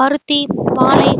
பருத்தி வாழை